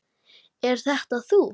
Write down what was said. Er þetta þú?